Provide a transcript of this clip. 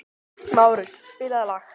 Márus, spilaðu lag.